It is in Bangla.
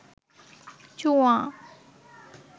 জুয়া